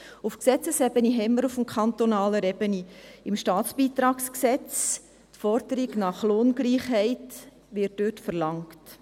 Auf Gesetzesebene wird auf kantonaler Ebene im StBG die Forderung nach Lohngleichheit verlangt.